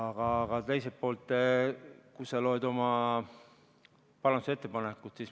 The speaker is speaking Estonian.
Aga teiselt poolt, loe oma parandusettepanekut.